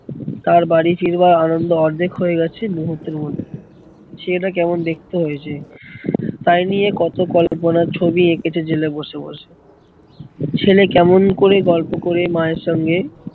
তার বাড়ি ফিরবার আনন্দ অর্ধেক হয়ে গেছে মুহূর্তের মধ্যে। ছেলেটা কেমন দেখতে হয়েছে তাই নিয়ে কত কল্পনার ছবি এঁকেছে জেলে বসে বসে ছেলে কেমন করে গল্প করে মায়ের সঙ্গে